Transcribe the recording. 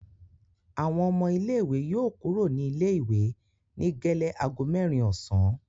Àwọn ọmọ ilé-ìwé yóò kúrò ní ilé-ìwé ní gẹ́lẹ́ ago mẹ́rin ọ̀sán.